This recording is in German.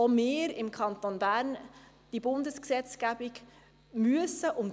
Auch der Kanton Bern muss und will die Bundesgesetzgebung einhalten.